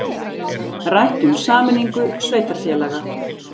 Rætt um sameiningu sveitarfélaga